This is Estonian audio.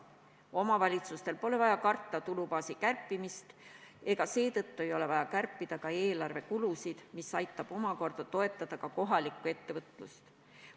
Omavalitsustel pole vaja karta tulubaasi kärpimist ja seetõttu ei ole vaja kärpida ka eelarvekulusid, mis omakorda aitab toetada kohalikku ettevõtlust.